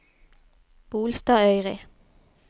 Bolstadøyri